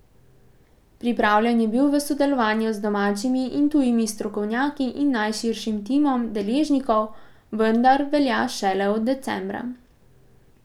Pripravljen je bil v sodelovanju z domačimi in tujimi strokovnjaki in najširšim timom deležnikov, vendar velja šele od decembra.